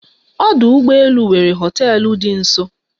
Ọdụ ụgbọ elu nwere hoteelu dị nso